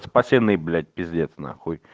спасены блять пиздец нахуй